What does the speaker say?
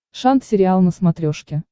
шант сериал на смотрешке